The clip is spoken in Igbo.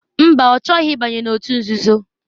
Mba ọ chọghị ịbanye n'òtù nzuzo.